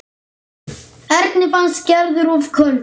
Erni fannst Gerður of köld.